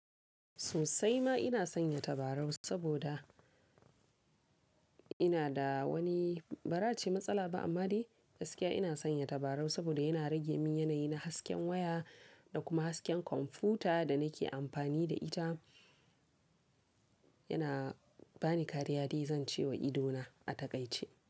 Sosai ma ina sanya tabarau saboda ina da wani bara ace matsala ba amma dai gaskiya ina sanya tabarau saboda yana rage min yanayi na hasken waya da kuma hasken kwamfuta da nake amfani da ita. Yana bani kariya dai zan ce wa idona a takaice.